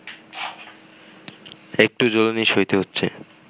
একটু জ্বলুনি সইতে হচ্ছে